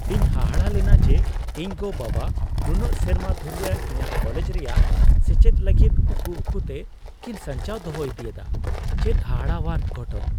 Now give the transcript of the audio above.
ᱤᱧ ᱦᱟᱦᱟᱲᱟ ᱞᱮᱱᱟ ᱡᱮ ᱤᱧ ᱜᱚᱼᱵᱟᱵᱟ ᱱᱩᱱᱟᱹᱜ ᱥᱮᱨᱢᱟ ᱫᱷᱩᱨᱤᱭᱟᱹ ᱤᱧᱟᱜ ᱠᱚᱞᱮᱡ ᱨᱮᱭᱟᱜ ᱥᱮᱪᱮᱫ ᱞᱟᱹᱜᱤᱫ ᱩᱠᱩ ᱩᱠᱩᱛᱮ ᱠᱤᱱ ᱥᱟᱧᱪᱟᱣ ᱫᱚᱦᱚ ᱤᱫᱤᱭᱮᱫᱟ ᱾ ᱪᱮᱫ ᱦᱟᱦᱟᱲᱟᱣᱟᱱ ᱜᱷᱚᱴᱚᱱ !